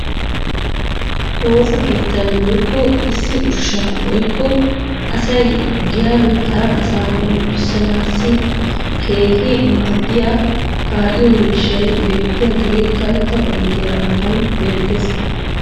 woossa keettan woykko issi ushsha woykko asay giyan hara asaa hombboccissanaassi keehi maadiyaa kaa'iyo miishshay beetiyaagee karetta oyddiya matan beetees.